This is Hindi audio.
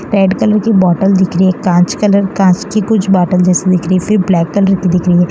रेड कलर की बॉटल दिख रही है कांच कलर कांच की कुछ बॉटल जैसी दिख रही है फिर ब्लैक कलर की दिख रही है।